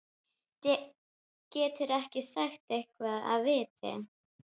Geturðu ekki sagt eitthvað af viti?